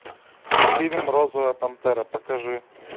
фильм розовая пантера покажи